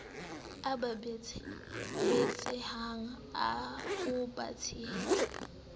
e ba batsehang o tshehetsa